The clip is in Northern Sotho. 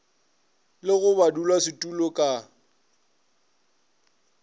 le go ba badulasetulo ka